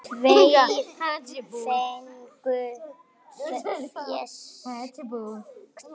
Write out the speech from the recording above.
Tveir fengu fésekt.